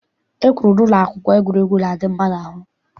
E kwuru n'ụlọ akwụkwọ na egwuregwu na-adị mma n'ahụ.